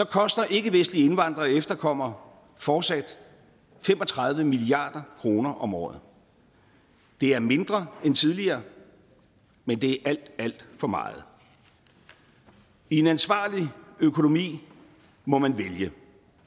koster ikkevestlige indvandrere og efterkommere fortsat fem og tredive milliard kroner om året det er mindre end tidligere men det er alt alt for meget i en ansvarlig økonomi må man vælge